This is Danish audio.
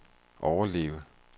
overleve